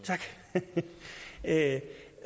jeg er ked af